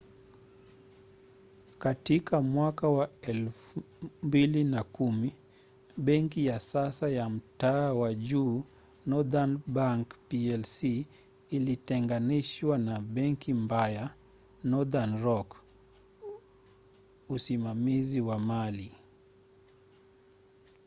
katika mwaka wa 2010 benki ya sasa ya mtaa wa juu northern bank plc ilitenganishwa na ‘benki mbaya’ northern rock usimamizi wa mali